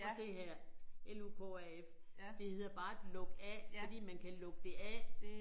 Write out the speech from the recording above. Prøv at se her L U K A F det hedder bare et lukaf fordi man kan lukke det af